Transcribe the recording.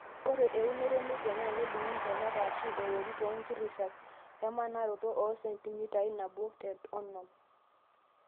Ore eunoto enepia naa kedungi ntonat eshu eworii too nkirishat emanaroto oo sentimitai nabo te onom.